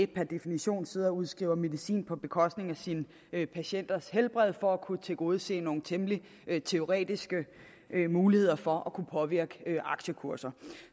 per definition sidder og udskriver medicin på bekostning af sine patienters helbred for at kunne tilgodese nogle temmelig teoretiske muligheder for at kunne påvirke aktiekurser